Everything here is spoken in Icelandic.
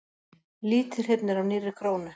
Lítið hrifnir af nýrri krónu